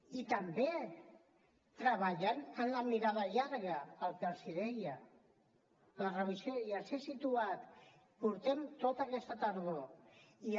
i també treballant amb la mirada llarga el que els deia fent revisió i els ho he situat portem tota aquesta tardor fent ne